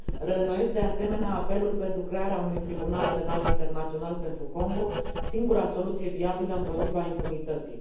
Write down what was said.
Reînnoiesc, de asemenea, apelul pentru crearea unui tribunal penal internațional pentru Congo, singura soluție viabilă împotriva impunității.